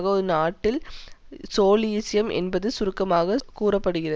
ஒரு நாட்டில் சோலியிசம் என்பதில் சுருக்கமாக கூற படுகிறது